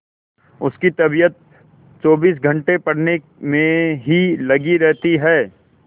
उसकी तबीयत चौबीस घंटे पढ़ने में ही लगी रहती है